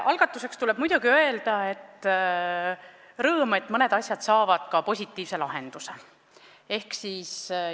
Algatuseks tuleb muidugi väljendada rõõmu, et mõned asjad saavad ka positiivse lahenduse.